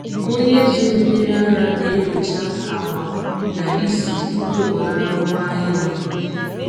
Onye zụrụ mmiri ara na-enyocha agba na ísì tupu ọ nara ngwaahịa ahụ.